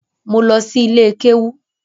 Mo lọ si ilé kéwú